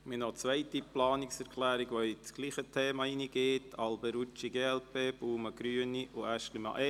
Wir haben noch eine zweite Planungserklärung zum selben Thema, die Planungserklärung Alberucci/glp, Baumann/Grüne und Aeschlimann/EVP.